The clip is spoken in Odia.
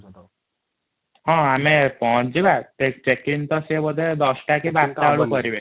ହଁ ଆମେ ପହଛିବା ଚେକିଂ ତ ସେ ବୋଧେ ୧୦ କି ୧୨ ଟା ବେଳକୁ କରିବେ |